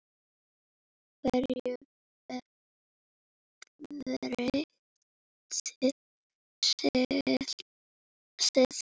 Hverju breytti slysið?